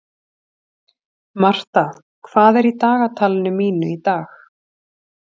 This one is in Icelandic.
Martha, hvað er í dagatalinu mínu í dag?